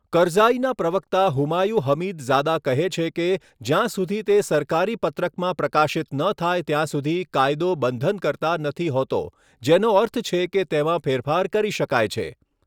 કરઝાઈના પ્રવક્તા હુમાયુ હમીદઝાદા કહે છે કે જ્યાં સુધી તે સરકારી પત્રકમાં પ્રકાશિત ન થાય ત્યાં સુધી કાયદો બંધનકર્તા નથી હોતો, જેનો અર્થ છે કે તેમાં ફેરફાર કરી શકાય છે.